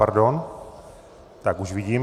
Pardon, tak už vidím.